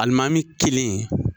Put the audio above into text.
Alimami kelen .